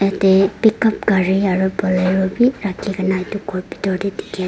yatae pick up gari aro bolero bi rakhikaena edu khor bitor tae dikhiase.